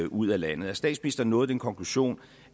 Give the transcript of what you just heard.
ud af landet har statsministeren nået den konklusion